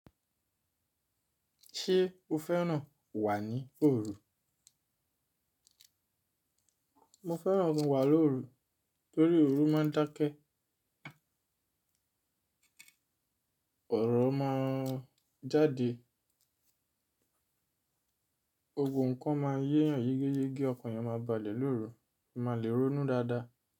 Ṣé o fẹ́ràn wà ní òru? Mo fẹ́ràn wà lóru torí òru máa ń dákẹ́, ọ̀rọ̀ máa ń jáde, gbogbo n kan máa ń yéyan yégeyégé, ọkan eeyan máa balẹ̀ lóru, mo máa le ronú dáadáa.